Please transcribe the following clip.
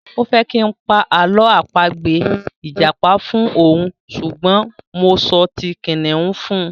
O fẹ́ kí n pa àlọ́ àpagbè ìjàpá fún òun ṣùgbọ́n mo sọ ti kìnnìún fún un.